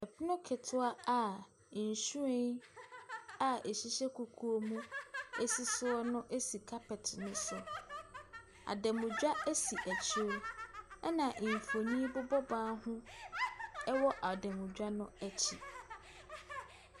Pono ketewa a nhyiren a ɛhyehyɛ kukuo mu si soɔ no si carpet ne so. Adanmutwa si akyire na mfonin bobɔ ban ho wɔ adanmutwa no akyi.